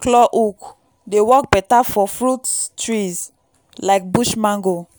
claw hook dey work beta for fruit trees like bush mango.